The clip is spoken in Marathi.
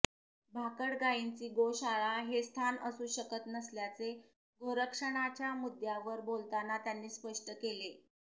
भाकड गाईंचे गोशाळा हे स्थान असू शकत नसल्याचे गोरक्षणाच्या मुद्द्यावर बोलताना त्यांनी स्पष्ट केले